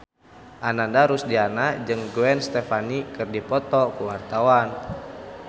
Ananda Rusdiana jeung Gwen Stefani keur dipoto ku wartawan